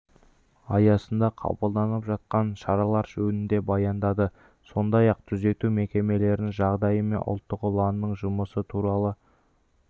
аясында қабылданып жатқан шаралар жөнінде баяндады сондай-ақ түзету мекемелерінің жағдайы мен ұлттық ұланның жұмысы туралы